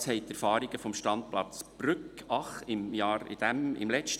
Das haben die Erfahrungen des Standplatzes Brügg von letztem Jahr gezeigt.